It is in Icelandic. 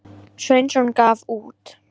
Sveinsson gaf út.